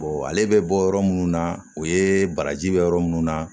ale bɛ bɔ yɔrɔ minnu na u ye baraji bɛ yɔrɔ minnu na